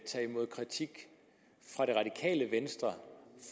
tage imod kritik fra det radikale venstre